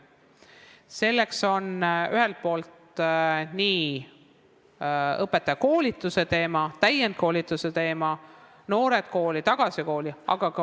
Selleks on mõeldud õpetajakoolitus, täienduskoolitus, Noored Kooli, Tagasi Kooli.